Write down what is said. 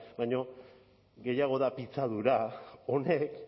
baino gehiago da pitzadura honek